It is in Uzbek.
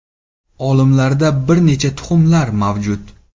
Olimlarda bir necha taxminlar mavjud.